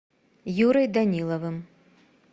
юрой даниловым